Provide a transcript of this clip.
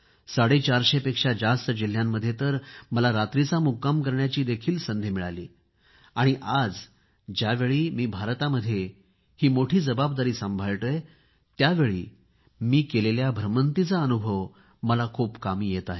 साडेचारशेपेक्षा जास्त जिल्ह्यांमध्ये तर मला रात्रीचा मुक्काम करण्याचीही संधी मिळाली आहे आणि आज ज्यावेळी मी भारतामध्ये ही मोठी जबाबदारी सांभाळतोय त्यावेळी केलेल्या भ्रमंतीचा अनुभव मला खूप कामी येत आहे